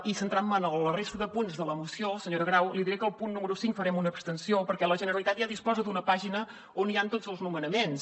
i centrant me en la resta de punts de la moció senyora grau li diré que al punt número cinc farem una abstenció perquè la generalitat ja disposa d’una pàgina on hi han tots els nomenaments